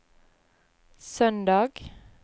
søndag